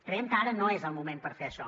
creiem que ara no és el moment per fer això